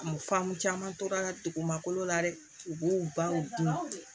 Faamu caman tora dugumakolo la dɛ u b'u baw dun